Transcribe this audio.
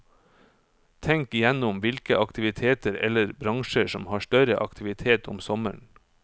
Tenk igjennom hvilke aktiviteter eller bransjer som har større aktivitet om sommeren.